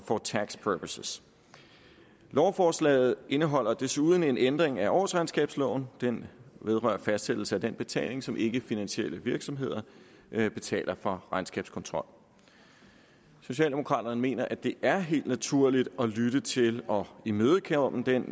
for tax purposes lovforslaget indeholder desuden en ændring af årsregnskabsloven den vedrører fastsættelse af den betaling som ikkefinansielle virksomheder betaler for regnskabskontrol socialdemokraterne mener at det er helt naturligt at lytte til og imødekomme den